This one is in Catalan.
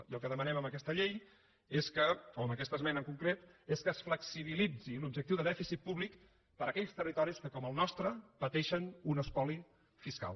i el que demanem amb aquesta llei o amb aquesta esmena en concret és que es flexibilitzi l’objectiu de dèficit públic per a aquells territoris que com el nostre pateixen un espoli fiscal